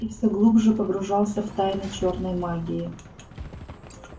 и все глубже погружался в тайны чёрной магии